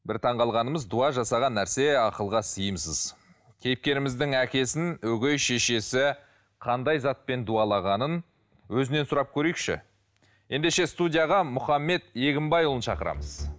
бір таңғалғанымыз дуа жасаған нәрсе ақылға сыйымсыз кейіпкеріміздің әкесін өгей шешесі қандай затпен дуалағанын өзінен сұрап көрейікші ендеше студияға мұхаммед егінбайұлын шақырамыз